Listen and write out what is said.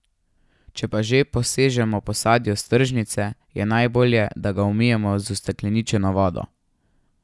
Če pa že posežemo po sadju s tržnice, je najbolje, da ga umijemo z ustekleničeno vodo.